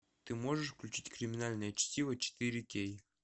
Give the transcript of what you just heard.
ты можешь включить криминальное чтиво четыре кей